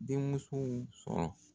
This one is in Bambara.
Denmusow sɔrɔ.